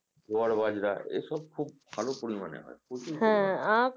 জোয়ার বাজরা এসব খুব ভালো পরিমাণে হয় প্রচুর পরিমানে